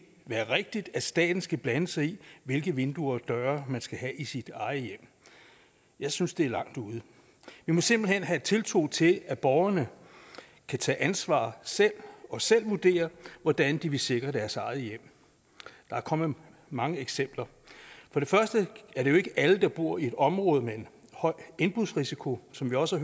være rigtigt at staten skal blande sig i hvilke vinduer og døre man skal have i sit eget hjem jeg synes det er langt ude vi må simpelt hen have tiltro til at borgerne kan tage ansvar selv og selv vurdere hvordan de vil sikre deres eget hjem der er kommet mange eksempler for det første er det jo ikke alle der bor i et område med en høj indbrudsrisiko som vi også